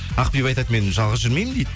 ақбибі айтады мен жалғыз жүрмеймін дейді